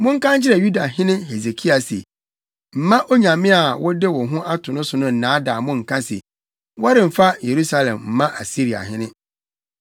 “Monka nkyerɛ Yudahene Hesekia se: Mma onyame a wode wo ho ato no so no nnaadaa mo nka se, ‘Wɔremfa Yerusalem mma Asiriahene.’